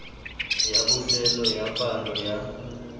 ya bofelo ya palo ya